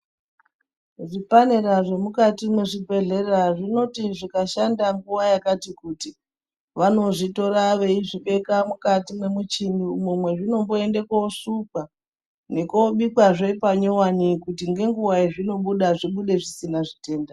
Zvipanera zvemukati mwezvibhehlera zvinoti zvakashanda nguwa yakati kuti vanozvitora veizvibeka mukati mwemuchini umwo mwezvinomboende kuosukwa nekunobikwazve panyuwani kuti ngenguwa yezvinobuda zvibude zvisina zvitenda.